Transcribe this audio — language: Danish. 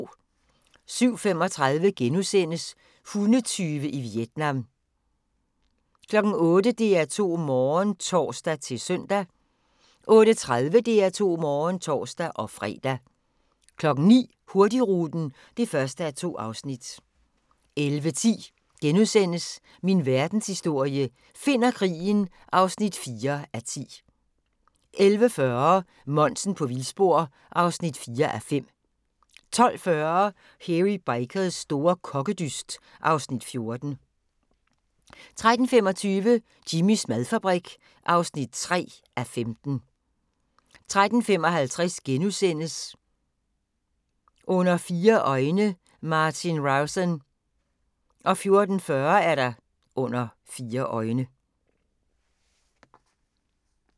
07:35: Hundetyve i Vietnam * 08:00: DR2 Morgen (tor-søn) 08:30: DR2 Morgen (tor-fre) 09:00: Hurtigruten (1:2) 11:10: Min Verdenshistorie – Finn og krigen (4:10)* 11:40: Monsen på vildspor (4:5) 12:40: Hairy Bikers store kokkedyst (Afs. 14) 13:25: Jimmys madfabrik (3:15) 13:55: Under fire øjne – Martin Rowson * 14:40: Under fire øjne